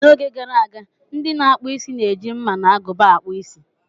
N'oge gara aga, ndị na-akpụ isi na-eji mma na agụba akpu Ịsị.